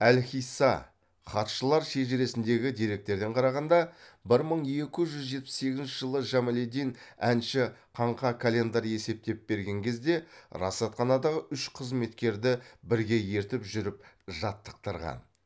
әл хисса хатшылар шежіресіндегі деректерден қарағанда бір мың екі жүз жетпіс сегізінші жылы жамалиддин әнши каңға календар есептеп берген кезде расатханадағы үш қызметкерді бірге ертіп жүріп жаттықтырған